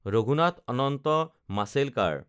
Raghunath Ananta Mashelkar